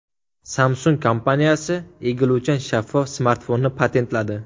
Samsung kompaniyasi egiluvchan shaffof smartfonni patentladi.